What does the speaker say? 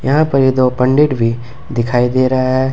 यहां पर ये दो पंडित भी दिखाई दे रहा है।